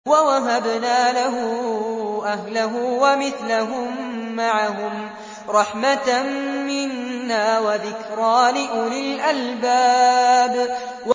وَوَهَبْنَا لَهُ أَهْلَهُ وَمِثْلَهُم مَّعَهُمْ رَحْمَةً مِّنَّا وَذِكْرَىٰ لِأُولِي الْأَلْبَابِ